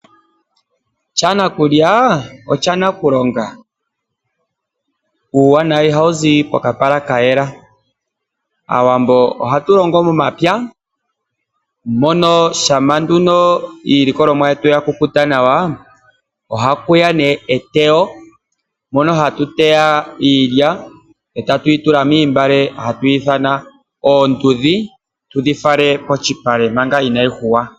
Sha nakulya osha nakulonga. Uuwanawa ihawu zi pokapala ka yela. Aawambo ohatu longo momapya mono shampa nduno iilikolomwa yetu ya kukuta nawa ohaku ya eteyo moka hatu teya iilya e tatu yi tula moontungwa hatu dhi ithana oondudhi tudhi fale komalupale manga inaayi yungulwa.